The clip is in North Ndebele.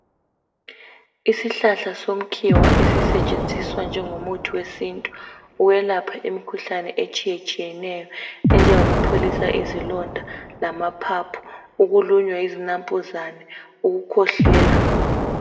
Isihlahla somkhiwa esisetshenziswa njengomuthi wesintu welapha imikhuhlane etshiyetshiyeneyo enjengoyokupholisa izilonda lamaphaphu ukulunywa yizinampuzana, ukukhwehlela